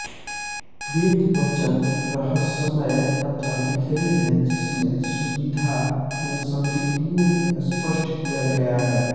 वेद वचन रहस्मय तथा बिखरे हैं जिन्हें सुविधा में स्मृतियों में स्पष्ट किया गया है